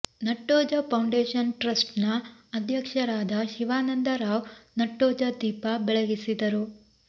Nattoja foundation trust ನ ಅಧ್ಯಕ್ಷರಾದ ಶಿವಾನಂದ ರಾವ್ ನಟ್ಟೋಜ ದೀಪ ಬೆಳಗಿಸಿದರು